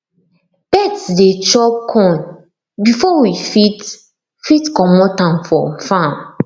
birds dey chop corn before we fit fit commot am from farm